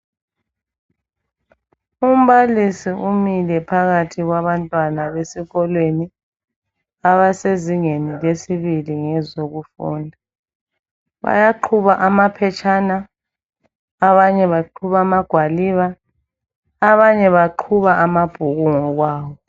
Umbalisi umile phakathi kwabantwana besikolweni abasezingeni lesibili ngezokufunda bayaqhuba amaphetshana abanye baqhuba amagwaliba abanye baqhuba amabhuku ngokwawo.